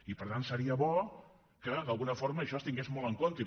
i per tant seria bo que d’alguna forma això es tingués molt en compte